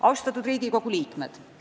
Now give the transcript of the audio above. Austatud Riigikogu liikmed!